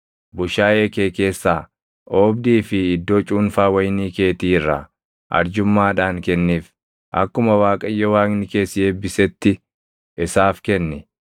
Bushaayee kee keessaa, oobdii fi iddoo cuunfaa wayinii keetii irraa arjummaadhaan kenniif. Akkuma Waaqayyo Waaqni kee si eebbisetti isaaf kenni.